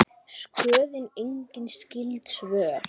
Skoðið einnig skyld svör